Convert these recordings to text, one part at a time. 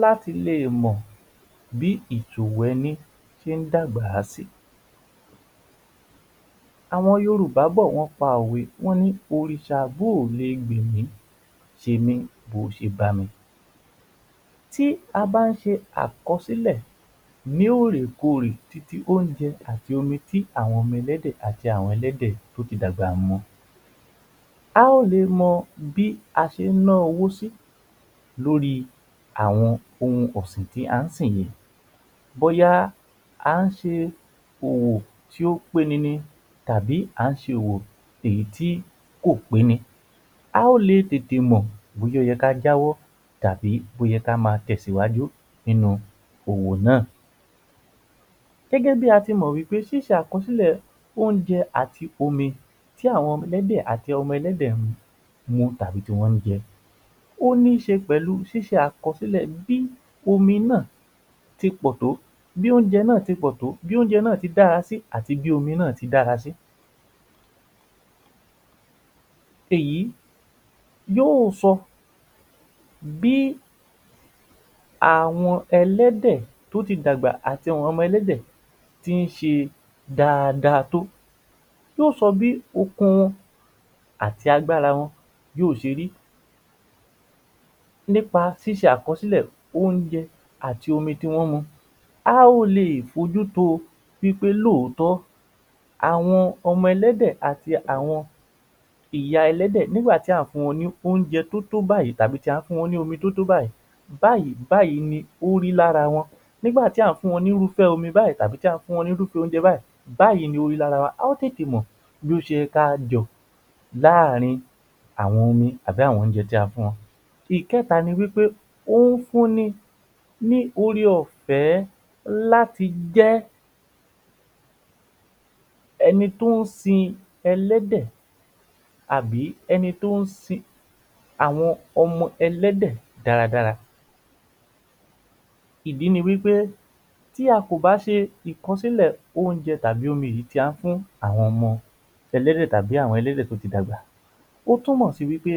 láti lè mọ̀ bí ètò ẹni ṣe ń dàgbà si. Àwọn Yorùbá bọ̀ wọ́n pa òwe, wọ́n ni Òrìṣà bú ò le gbẹ̀ mí, ṣe mí bo ṣe bá mi. Tí a bá ń ṣe àkọsílẹ̀ ní òrèkorè titi oúnjẹ àti omi tí àwọn ọmọ ẹlẹ́dẹ̀ àti àwọn ẹlẹ́dẹ̀ tí ó ti dàgbà mu, a ó lè mọ bí a ṣé ń ná owó sí lórí àwọn ohun ọ̀sìn tí a ń sìn yìí, bóyá à ń ṣe òwò tí ó peni tàbí a ń ṣe òwò èyí tí kò peni. A ó le tètè mọ̀ bóyá ó yẹ kí a jẹ́wọ́ tàbí bóyá ka ma tẹ̀sìwájú nínú òwò náà. Gẹ́gẹ́ bí a ṣe mọ̀ pé ṣíṣe àkọsílẹ̀ oúnjẹ àti omi tí àwọn ẹlẹ́dẹ̀ àti àwọn ọmọ ẹlẹ́dẹ̀ mu tàbí tí wọ́n jẹ ó ní ṣe pẹ̀lú ṣíṣe àkọ́sílẹ̀ bí omi náà ti pọ̀ tó, bí oúnjẹ náà dára sí àti bí omi náà ti dára sí. Èyí yóò sọ bí àwọn ẹlẹ́dẹ̀ tí ó ti dàgbà àti àwọn ọmọ ẹlẹ́dẹ̀ tí ń ṣe dáadáa tó, yóò sọ bí okun wọn àti agbára wọn yóò ṣe rí nípa ṣíṣe àkọsílẹ̀ oúnjẹ àti omi tí wọ́n ń mu, á ó lè fi ojú to pé òtọ́ọ́ àwọn ọmọ ẹlẹ́dẹ̀ àti ìyá ẹlẹ́dẹ̀ nígbà tí a ò fún wọn ní oúnjẹ tí ó tó báyìí tàbí tí a ò fún wọn ní omi tí ó tó báyìí báyìí báyìí ni ó rí ní ara wọn nígbà tí adùn wọn ní irúfẹ́ omi báyìí tí a fún wọn ní irúfẹ́ oúnjẹ báyìí ni ó rí lára wọn. A ó tètè mọ̀ láàárín omi tàbí àwọn oúnjẹ tí a fún wọn. Ìkẹ́ta ni pé ó fún ni, ní ọrẹ ọ̀fẹ́ láti jẹ́ ẹni tí ó ń sin ẹlẹ́dẹ̀ àbí ẹni tí ó ń sin àwọn ọmọ ẹlẹ́dẹ̀ dáradára. Ìdí ni wí pé, tí a kò bá ṣe ìkọ́sílẹ̀ oúnjẹ tàbí òmí yìí tí a fún àwọn ọmọ ẹlẹ́dẹ̀ tàbí àwọn ẹlẹ́dẹ̀ tí ó ti dàgbà, ó túmọ̀ sí wí pé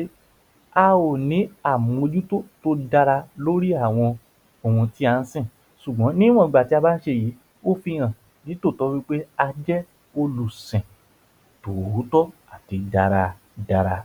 a ò ní àmójútó tí ó dára lórí àwọn ohun tí à ń sìn. Sugbon ni wọ̀n ìgbà tí a bá ń ṣe èyí, ó fi hàn ní tòótọ́ wí pé a jẹ́ olùsìn tòótọ́ àbí dáradára.